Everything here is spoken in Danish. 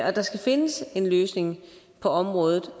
at der skal findes en løsning på området